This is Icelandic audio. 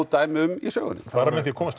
dæmi um í sögunni bara með því að komast